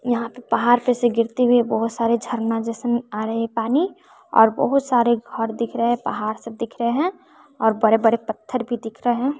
यहाँ पे पहाड़ पे से गिरती हुई बहुत सारे झरना जइसन आ रहे पानी और बहोत सारे घर दिख रहे पहाड़ सब दिख रहे है और बड़े-बड़े पत्थर भी दिख रहे --